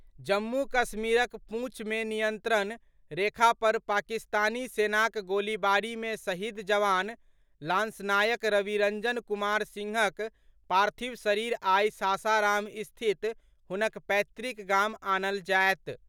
जम्मू कश्मीरक पूंछ मे नियंत्रण रेखा पर पाकिस्तानी सेनाक गोलीबारी मे शहीद जवान लांसनायक रविरंजन कुमार सिंहक पार्थिव शरीर आइ सासाराम स्थित हुनक पैतृक गाम आनल जायत।